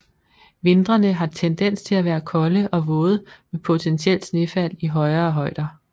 Vintrene har tendens til at være kolde og våde med potentielt snefald i højere højder